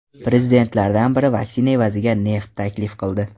Prezidentlardan biri vaksina evaziga neft taklif qildi.